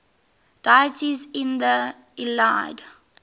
deities in the iliad